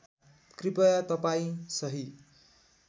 कृपया तपाईँ सही